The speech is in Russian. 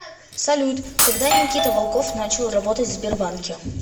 салют когда никита волков начал работать в сбербанке